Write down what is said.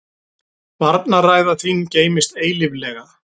Varnarræða þín geymist eilíflega.